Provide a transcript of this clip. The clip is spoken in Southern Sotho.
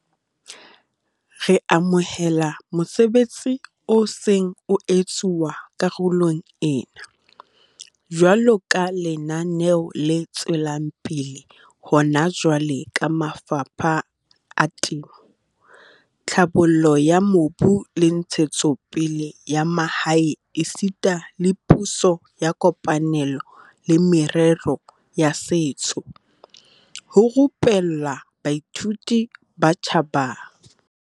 Re amohela mosebetsi o seng o etsuwa karolong ena, jwaloka lenaneo le tswelang pele hona jwale ka mafapha a Temo, Tlhabollo ya Mobu le Ntshetsopele ya Mahae esita le Puso ya kopanelo le Merero ya Setso, ho rupella baithuti ba batjha ba 1 000 Freistata ka boqhetseke ba temo le tse ding.